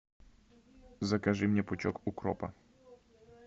закажи мне пучок укропа